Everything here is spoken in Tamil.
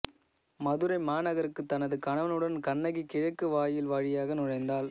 மதுரை மாநகருக்குத் தனது கணவனுடன் கண்ணகி கிழக்கு வாயில் வழியாக நுழைந்தாள்